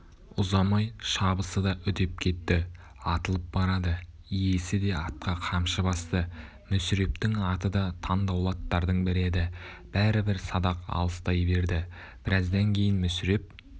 ұзамай шабысы да үдеп кетті атылып барады иесі де атқа қамшы басты мүсірептің аты да таңдаулы аттардың бірі еді бәрібір садақ алыстай берді біраздан кейін мүсіреп